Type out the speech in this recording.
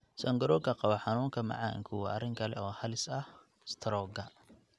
Sonkorowga Qaba xanuunka macaanku waa arrin kale oo halis u ah istaroogga.